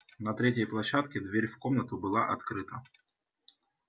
на третьей площадке дверь в комнату была открыта